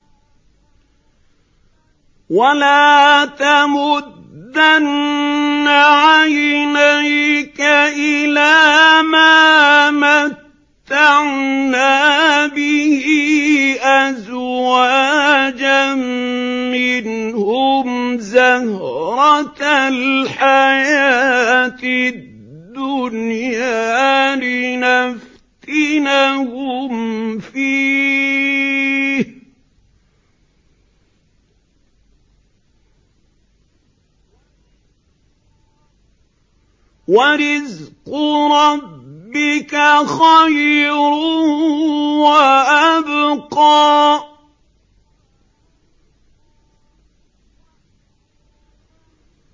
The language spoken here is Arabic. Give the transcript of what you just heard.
وَلَا تَمُدَّنَّ عَيْنَيْكَ إِلَىٰ مَا مَتَّعْنَا بِهِ أَزْوَاجًا مِّنْهُمْ زَهْرَةَ الْحَيَاةِ الدُّنْيَا لِنَفْتِنَهُمْ فِيهِ ۚ وَرِزْقُ رَبِّكَ خَيْرٌ وَأَبْقَىٰ